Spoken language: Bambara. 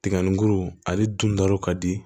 Tiga ni guru ale dun ta yɔrɔ ka di